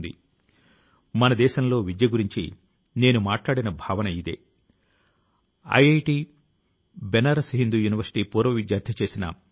ఆయన కృషి తో ప్రేరణ ను పొంది అనేక ఇతర గ్రామాల ప్రజలు కూడా గ్రంథాలయాల ను రూపొందించే పని లో నిమగ్నమై ఉన్నారు